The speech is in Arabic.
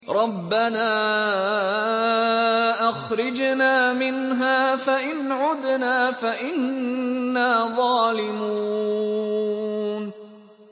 رَبَّنَا أَخْرِجْنَا مِنْهَا فَإِنْ عُدْنَا فَإِنَّا ظَالِمُونَ